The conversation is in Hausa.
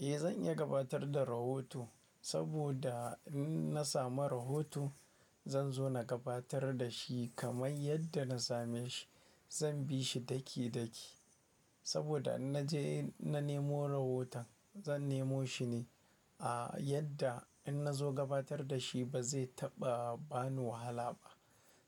Eh zan iya gabatar da rahoto saboda in na samu rahoto zan zo na gabatar da shi kamar yadda na same shi. Zan bi shi daki- daki saboda in na je na nemo rahoton zan nemo shi ne a yadda in na zo gabatar da shi ba zai taɓa ba ni wahala ba.